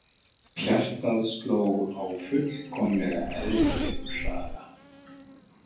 Hjartað sló á fullkomlega eðlilegum hraða.